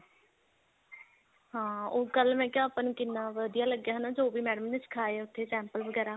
ਹਾਂ ਉਹ ਕੱਲ ਮੈਂ ਕਿਆ ਆਪਾ ਨੂੰ ਕਿੰਨਾ ਵਧੀਆ ਲੱਗਿਆ ਹਨਾ ਜੋ ਵੀ madam ਨੇ ਸੀਖਾਇਆ ਉੱਥੇ sample ਵਗੈਰਾ